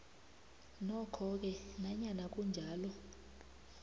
nokhoke nanyana kunjalo